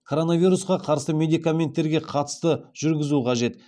коронавирусқа қарсы медикаменттерге қатысты жүргізу қажет